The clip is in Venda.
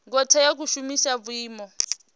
ngo tea u shumisa vhuimo